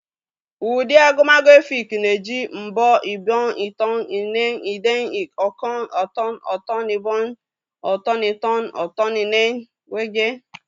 Ụdị agụmagụ Efik na-eji mbọ, ibiọñ, itọñ, ine, idem, ọkọñ, ọ̀tọọñ, ọ̀tọ̀ñ-ibiọñ, ọ̀tọ̀n-itọ́, ọ̀tọ̀n-ine, wdg.